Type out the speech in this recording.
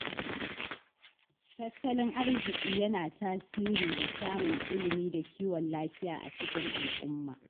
Tattalin arziki yana tasiri ga samun ilimi da kiwon lafiya a cikin al'umma.